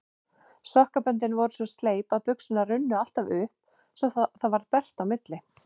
Sokkaböndin voru svo sleip að buxurnar runnu alltaf upp svo það varð bert á milli.